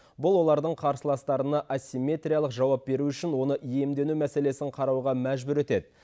бұл олардың қарсыластарына асимметриялық жауап беру үшін оны иемдену мәселесін қарауға мәжбүр етеді